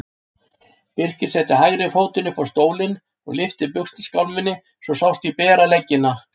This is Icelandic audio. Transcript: Birkir setti hægri fótinn upp á stólinn og lyfti buxnaskálminni svo sást í beran legginn.